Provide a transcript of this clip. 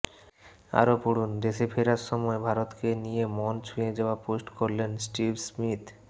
আরও পড়ুন দেশে ফেরার সময় ভারতকে নিয়ে মন ছুঁয়ে যাওয়া পোস্ট করলেন স্টিভ স্মিথ